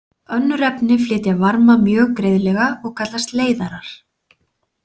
Önnur efni flytja varma mjög greiðlega og kallast leiðarar.